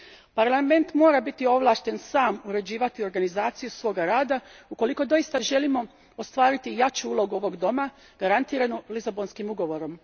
Paralament mora biti ovlašten sam uređivati organizaciju svoga rada ako doista želimo ostvariti jaču ulogu ovoga doma, garantiranu Lisabonskim ugovorom.